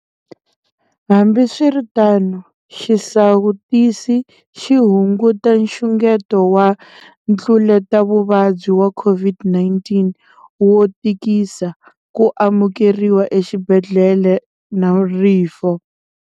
Hambiswiritano, xisawutisi xi hunguta nxungeto wa ntluletavuvabyi wa COVID19 wo tikisa, ku amukeriwa exibedhlele na rifu.